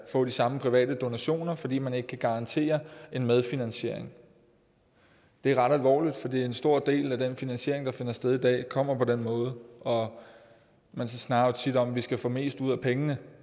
få de samme private donationer fordi man ikke kan garantere en medfinansiering det er ret alvorligt fordi en stor del af den finansiering der finder sted i dag kommer på den måde og man snakker jo tit om at vi skal få mest ud af pengene